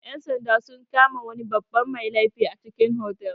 Ƴan-sanda sun kama wani babban mai laifi a cikin otal.